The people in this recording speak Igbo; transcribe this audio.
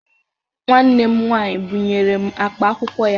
Nwanne m nwaanyị bụnyere m akpa akwụkwọ ya.